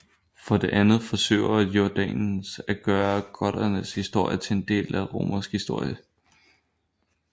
For det andet forsøger Jordanes at gøre goternes historie til en del af romersk historie